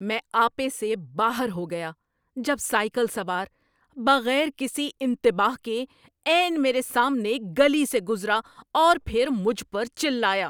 میں آپے سے باہر ہو گیا جب سائیکل سوار بغیر کسی انتباہ کے عین میرے سامنے گلی سے گزرا اور پھر مجھ پر چلایا۔